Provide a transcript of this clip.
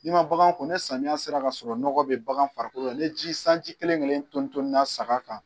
Ni ma bagan ko ne samiya sera k'a sɔrɔ nɔgɔ bɛ bagan farikolo la ne ji sanji kelen-kelen tonina saga kan